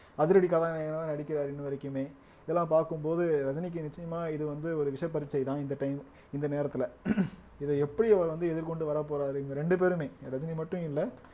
அதிரடி கதாநாயகனா நடிக்கிறாரு இன்ன வரைக்குமே இதெல்லாம் பார்க்கும் போது ரஜினிக்கு நிச்சயமா இது வந்து ஒரு விஷப்பரீட்சைதான் இந்த time இந்த நேரத்துல இத எப்படி அவர் வந்து எதிர்கொண்டு வரப் போறாரு இவுங்க ரெண்டு பேருமே ரஜினி மட்டும் இல்ல